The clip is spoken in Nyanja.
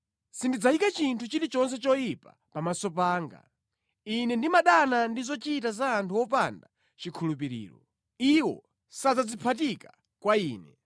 Sindidzayika chinthu chilichonse choyipa pamaso panga. Ine ndimadana ndi zochita za anthu opanda chikhulupiriro; iwo sadzadziphatika kwa ine.